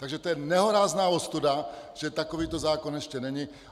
Takže to je nehorázná ostuda, že takovýto zákon ještě není!